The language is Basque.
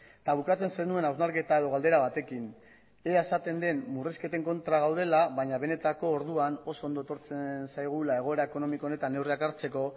eta bukatzen zenuen hausnarketa edo galdera batekin ea esaten den murrizketen kontra gaudela baina benetako orduan oso ondo etortzen zaigula egoera ekonomiko honetan neurriak hartzeko